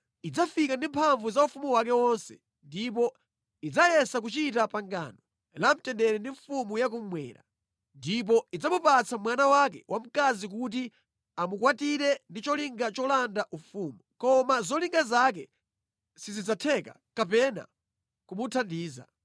Idzafika ndi mphamvu za ufumu wake wonse ndipo idzayesa kuchita pangano la mtendere ndi mfumu ya kummwera. Ndipo idzamupatsa mwana wake wamkazi kuti amukwatire ndi cholinga cholanda ufumu, koma zolinga zake sizidzatheka kapena kumuthandiza.